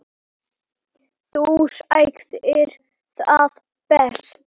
Þú sagðir það best.